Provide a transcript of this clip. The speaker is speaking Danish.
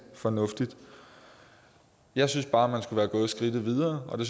fornuftigt jeg synes bare man skulle være gået skridtet videre og det